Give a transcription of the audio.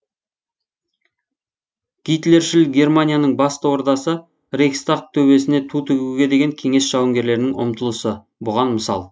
гитлершіл германияның басты ордасы рейхстаг төбесіне ту тігуге деген кеңес жауынгерлерінің ұмтылысы бұған мысал